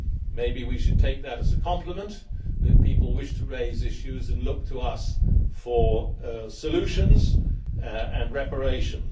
Maybe we should take it as a compliment that people wish to raise issues and look to us for solutions and reparations.